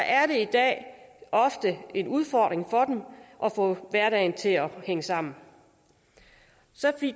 er det i dag ofte en udfordring for dem at få hverdagen til at hænge sammen